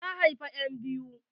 Ta haifa enbiyu.